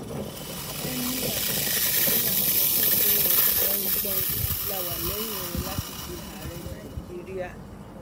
emir katisina sọ fún ọs gbọnìn gbọnin la wà lẹyìn rẹ láti di ààrẹ nàíjíríà